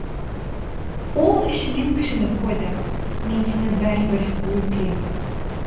ол ішінен кіжініп қойды мен сені бәрібір өлтірем